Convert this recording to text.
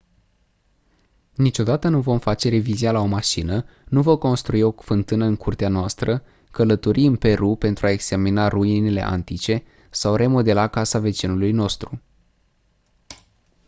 niciodată nu vom face revizia la o mașină nu vom construi o fântână în curtea noastră călători în peru pentru a examina ruinele antice sau remodela casa vecinului nostru